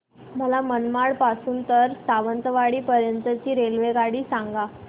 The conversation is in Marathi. मला मनमाड पासून तर सावंतवाडी पर्यंत ची रेल्वेगाडी सांगा